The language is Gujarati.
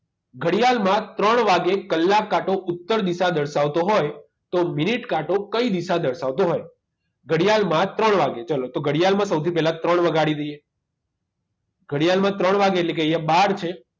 ઘડિયાળમાં ત્રણ વાગ્યે કલાક કાંટો ઉત્તર દિશા દર્શાવતો હોય તો મિનિટ કાંટો કઈ દિશા દર્શાવતો હોય ઘડિયાળમાં ત્રણ વાગ્યે ચલો તો ઘડિયાળમાં સૌથી પહેલા ત્રણ વગાડી દઈએ ઘડિયાળમાં ત્રણ વાગે એટલે કે અહીંયા બાર છે